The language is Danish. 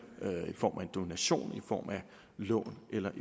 i form af enten en donation et lån eller